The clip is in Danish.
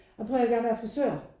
Prøv og hør her jeg vil gerne være frisør